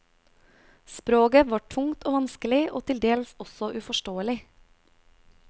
Sproget var tungt og vanskelig, og til dels også uforståelig.